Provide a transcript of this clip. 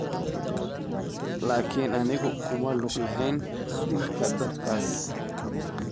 Laakin anigu kuma lug lahayn dilka dadkaas.